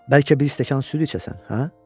Bəlkə bir stəkan süd içəsən, hə?